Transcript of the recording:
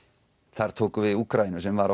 þar tókum við Úkraínu sem var á